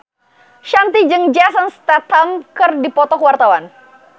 Shanti jeung Jason Statham keur dipoto ku wartawan